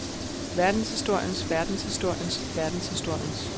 verdenshistoriens verdenshistoriens verdenshistoriens